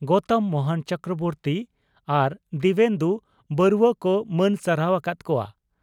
ᱜᱚᱣᱛᱚᱢ ᱢᱚᱦᱚᱱ ᱪᱚᱠᱨᱚᱵᱚᱨᱛᱤ ᱟᱨ ᱫᱤᱣᱮᱱᱫᱩ ᱵᱚᱨᱩᱣᱟ ᱠᱚ ᱢᱟᱹᱱ ᱥᱟᱨᱦᱟᱣ ᱟᱠᱟᱫ ᱠᱚᱣᱟ ᱾